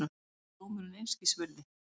Mér er dómurinn einskis virði.